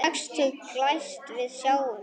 Sextugt glæst við sjáum víf.